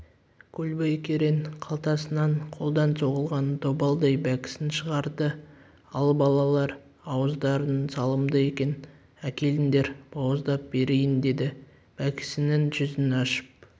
көлбай керең қалтасынан қолдан соғылған добалдай бәкісін шығарды ал балалар ауыздарың салымды екен әкеліңдер бауыздап берейін деді бәкісінің жүзін ашып